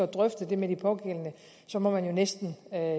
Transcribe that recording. drøftet med de pågældende så må man jo næsten